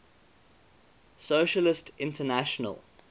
socialist international